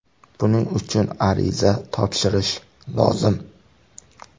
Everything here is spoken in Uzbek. Buning uchun ariza topshirish lozim.